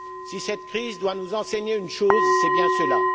Si cette crise doit nous enseigner une chose, c'est bien cela.